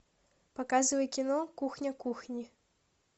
показывай кино кухня кухни